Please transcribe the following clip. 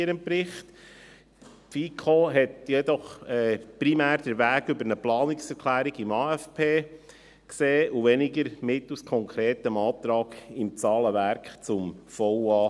Sie hat jedoch primär den Weg über eine Planungserklärung im AFP gesehen, und weniger denjenigen eines konkreten Antrags zum Zahlenwerk des VA 2020.